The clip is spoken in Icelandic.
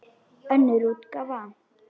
Önnur útgáfa.